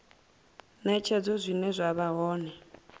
netshedzo zwine zwa vha hone